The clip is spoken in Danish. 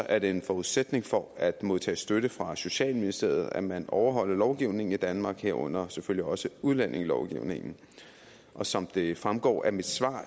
er det en forudsætning for at modtage støtte fra socialministeriet at man overholder lovgivningen i danmark herunder selvfølgelig også udlændingelovgivningen og som det fremgår af mit svar